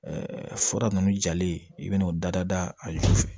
fura ninnu jalen i bɛna'o dada a zuw fɛ